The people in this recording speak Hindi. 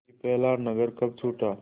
कि पहला नगर कब छूटा